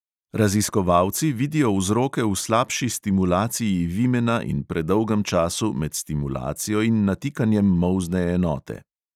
Raziskovalci vidijo vzroke v slabši stimulaciji vimena in predolgem času med stimulacijo in natikanjem molzne enote.